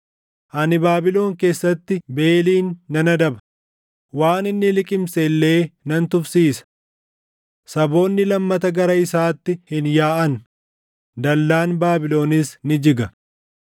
Ani Baabilon keessatti Beelin nan adaba; waan inni liqimse illee nan tufsiisa. Saboonni lammata gara isaatti hin yaaʼan; dallaan Baabilonis ni jiga.